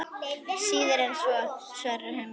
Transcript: Síður en svo, svarar Hemmi.